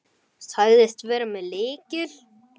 Þetta verði bálkur.